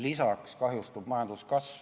Lisaks kahjustub majanduskasv.